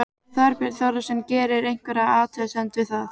Þorbjörn Þórðarson: Gerirðu einhverja athugasemd við það?